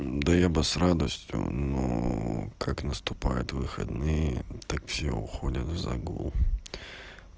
да я бы с радостью но как наступают выходные так все уходят в загул